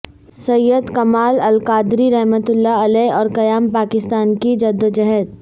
سید کامل القادری رحمت اللہ علیہ اور قیام پاکستان کی جد وجہد